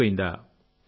చెడిపోయిందా